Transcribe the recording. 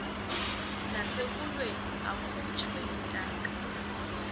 nasekulweni akhutshwe intaka